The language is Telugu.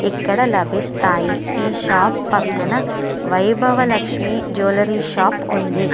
ఇక్కడ లభిస్తాయి ఈ షాప్ పక్కన వైభవ లక్ష్మి జ్యూలరీ షాప్ ఉంది.